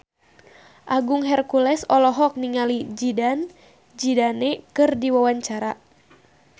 Agung Hercules olohok ningali Zidane Zidane keur diwawancara